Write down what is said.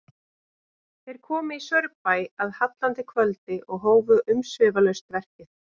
Þeir komu í Saurbæ að hallandi kvöldi og hófu umsvifalaust verkið.